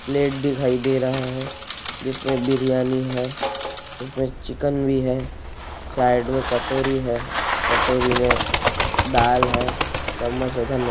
plate दिखाई दे रहा है जिसमें बिरयानी है इसमें चिकन भी है साइड मे कटोरी है कटोरी में दाल है चम्मच है धन्य--